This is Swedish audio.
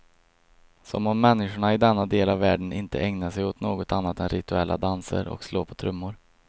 Som om människorna i denna del av världen inte ägnar sig åt något annat än rituella danser och slå på trummor.